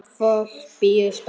Fólk bíður spennt.